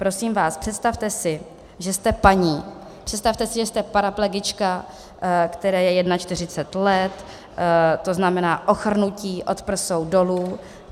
Prosím vás, představte si, že jste paní, představte si, že jste paraplegička, které je 41 let, to znamená ochrnutí od prsou dolů.